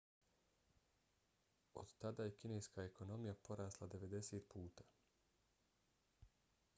od tada je kineska ekonomija porasla 90 puta